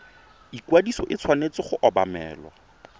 ikwadiso e tshwanetse go obamelwa